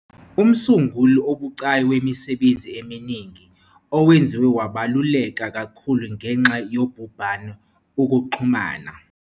Umsunguli obucayi wemisebenzi eminingi, owenziwe wabaluleka kakhulu ngenxa yobhubhane, ukuxhumana.